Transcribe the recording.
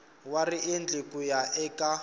wa riendli ku ya eka